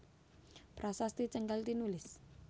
Prasasti Canggal tinulis